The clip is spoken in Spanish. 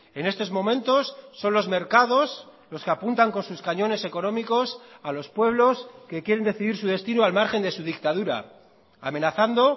en estos momentos son los mercados los que apuntan con sus cañones económicos a los pueblos que quieren decidir su destino al margen de su dictadura amenazando